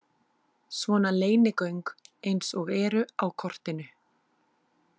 Svona leynigöng eins og eru á kortinu.